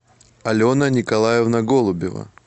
алена николаевна голубева